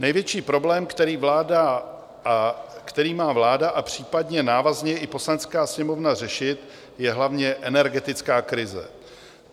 Největší problém, který má vláda a případně návazně i Poslanecká sněmovna řešit, je hlavně energetická krize.